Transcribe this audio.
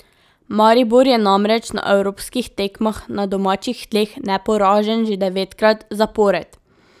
Maribor je namreč na evropskih tekmah na domačih tleh neporažen že devetkrat zapored.